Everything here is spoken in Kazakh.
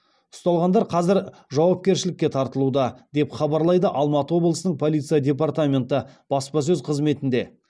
ұсталғандар қазір жауапкершілікке тартылуда деп хабарлайды алматы облысының полиция департаменті баспасөз қызметінде